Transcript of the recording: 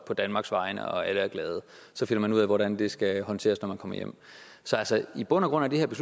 på danmarks vegne alle er glade og så finder man ud af hvordan det skal håndteres når man kommer hjem så altså i bund og grund er det